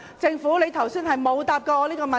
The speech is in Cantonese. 政府剛才沒有回答我這個問題。